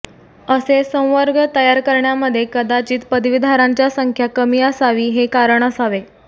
असे संवर्ग तयार करण्यामध्ये कदाचित पदवीधरांच्या संख्या कमी असावी हे कारण असावे